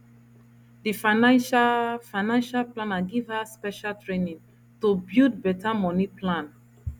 di financial financial planner give her special training to build better money plan